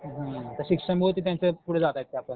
हं तर शिक्षणामुळं ते त्यांचं पुढं जातायत त्यापण